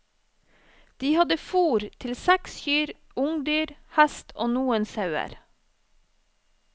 De hadde fôr til seks kyr, ungdyr, hest og noen sauer.